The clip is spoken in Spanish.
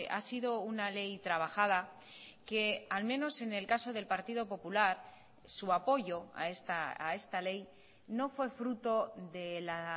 ha sido una ley trabajada que al menos en el caso del partido popular su apoyo a esta ley no fue fruto de la